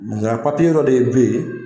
Yan papiye dɔ de bɛ ye.